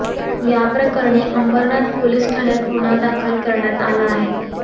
याप्रकरणी अंबरनाथ पोलीस ठाण्यात गुन्हा दाखल करण्यात आला आहे